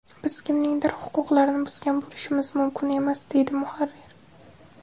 Biz kimningdir huquqlarini buzgan bo‘lishimiz mumkin emas”, deydi muharrir.